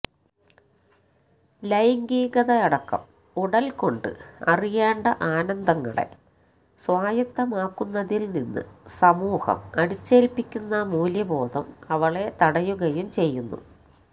ലൈംഗികതയടക്കം ഉടല് കൊണ്ട് അറിയേണ്ട ആനന്ദങ്ങളെ സ്വായത്തമാക്കുന്നതില് നിന്ന് സമൂഹം അടിച്ചേല്പ്പിക്കുന്ന മൂല്യബോധം അവളെ തടയുകയും ചെയ്യുന്നു